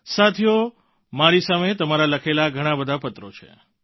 સાથીઓ મારી સામે તમારા લખેલા ઘણાં બધા પત્રો છે